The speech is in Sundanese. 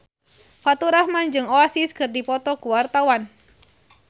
Faturrahman jeung Oasis keur dipoto ku wartawan